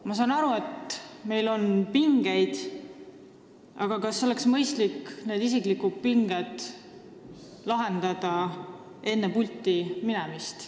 Ma saan aru, et meil on omavahel pingeid, aga ehk oleks mõistlik isiklikud pinged lahendada enne pulti minemist.